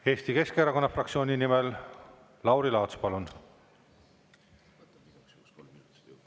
Eesti Keskerakonna fraktsiooni nimel Lauri Laats, palun!